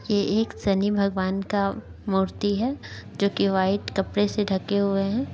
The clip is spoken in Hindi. ये एक शनि भगवान का मूर्ति है जो की वाइट कपड़े से ढके हुए हैं।